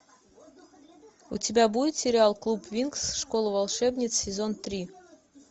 у тебя будет сериал клуб винкс школа волшебниц сезон три